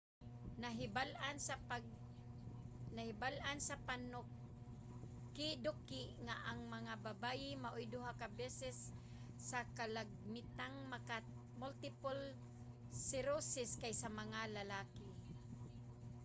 nahibal-an sa panukiduki nga ang mga babaye maoy duha ka beses nga kalagmitang magka-multiple sclerosis kaysa mga lalaki